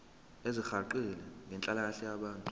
ezisihaqile zenhlalakahle yabantu